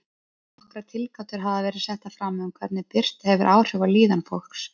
Nokkrar tilgátur hafa verið settar fram um hvernig birta hefur áhrif á líðan fólks.